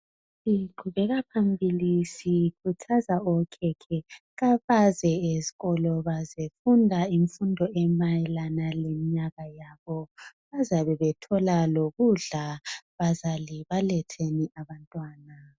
Siqhubeka phambili sikhuthaza okhekhe kabaze esikolo bazefunda imfundo emayelana lemnyaka yabo. Bazabe bethola lokudla, bazali baletheni abantwana.